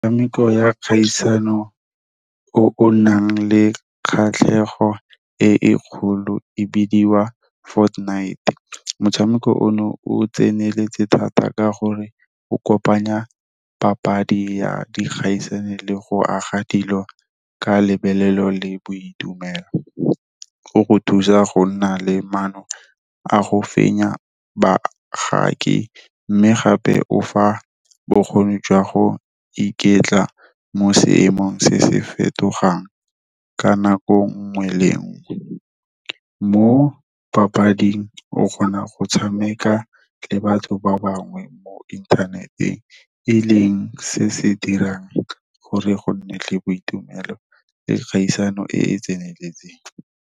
Metshameko ya kgaisano o o nang le kgatlhego e e kgolo e bidiwa Fortnite. Motshameko ono o tseneletse thata ka gore o kopanya papadi ya dikgaisano le go aga dilo ka le boitumelo. Go go thusa go nna le maano a go fenya bagaki, mme gape o fa bokgoni jwa go iketla mo seemong se se fetogang ka nako nngwe le nngwe. Mo papading o kgona go tshameka le batho ba bangwe mo inthaneteng, e leng se se dirang gore go nne le boitumelo le kgaisano e e tseneletseng.